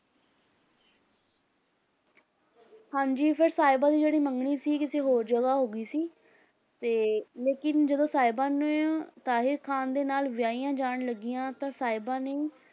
ਹਾਂਜੀ ਫਿਰ ਸਾਹਿਬਾਂ ਦੀ ਜਿਹੜੀ ਮੰਗਣੀ ਸੀ ਕਿਸੇ ਹੋਰ ਜਗ੍ਹਾ ਹੋ ਗਈ ਸੀ, ਤੇ ਲੇਕਿੰਨ ਜਦੋਂ ਸਾਹਿਬਾਂ ਨੇ ਤਾਹਿਰ ਖ਼ਾਨ ਦੇ ਨਾਲ ਵਿਆਹਿਆ ਜਾਣ ਲੱਗੀਆਂ ਤਾਂ ਸਾਹਿਬਾਂ ਨੇ